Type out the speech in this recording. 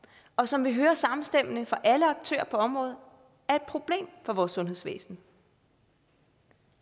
og som vi hører samstemmende fra alle aktører på området er et problem for vores sundhedsvæsen